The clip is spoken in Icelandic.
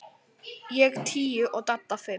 Ég tíu og Dadda fimm.